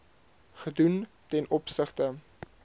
gedoen ten opsigte